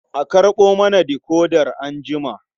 A karɓo mana decoder anjima.